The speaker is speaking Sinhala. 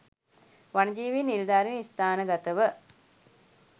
වනජීවි නිලධාරින් ස්ථානගතව